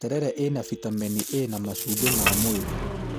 Terere ĩna bitameni A na macumbĩ ma mwĩrĩ